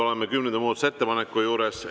Oleme kümnenda muudatusettepaneku juures.